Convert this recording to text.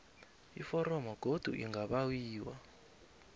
iforomo godu lingabawiwa